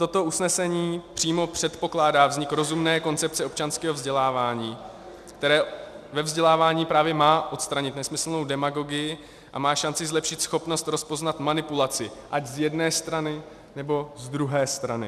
Toto usnesení přímo předpokládá vznik rozumné koncepce občanského vzdělávání, které ve vzdělávání právě má odstranit nesmyslnou demagogii a má šanci zlepšit schopnost rozpoznat manipulaci, ať z jedné strany, nebo z druhé strany.